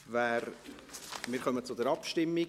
Wir kommen zur Abstimmung.